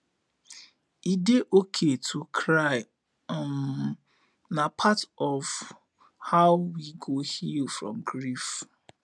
e dey okay to cry um na part of how we go heal from grief